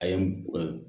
A ye